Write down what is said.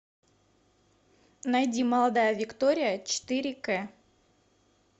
найди молодая виктория четыре к